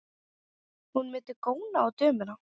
Hún mundi góna á dömuna.